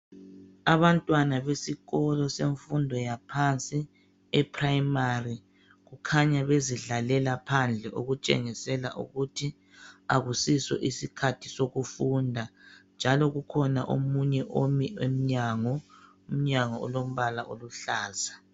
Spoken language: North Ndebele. Abantwana besikolo semfundo yaphansi eprimary. Kukhanya bezidlalela phandle okutshengisela ukuthi akusiso isikhathi sokufunda njalo kukhona omunye omi emnyango, umnyango olombala oluhlaza.